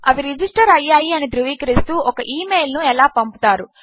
అవి రిజిస్టర్ అయ్యాయి అని ధ్రువీకరిస్తూ ఒక ఈ మెయిల్ ను ఎలా పంపుస్తారు